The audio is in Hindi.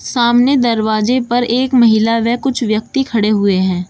सामने दरवाजे पर एक महिला व कुछ व्यक्ति खड़े हुए हैं।